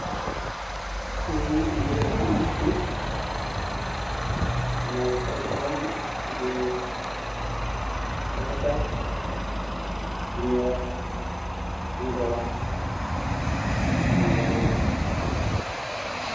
እዙይ እንሪኦ ዘለና ምስሊ ናይ ሕርሻ ኾይኑ ብተኽልታት ዝኒኦዎ ዕንበባ ኸም ዘለዎ የርኢ።